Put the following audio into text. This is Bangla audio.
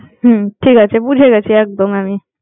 হম ঠিক আছে, বুঝে গেছি একদম।